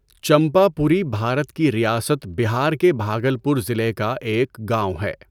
چمپا پوری بھارت کی ریاست بہار کے بھاگلپور ضلعے کا ایک گاؤں ہے۔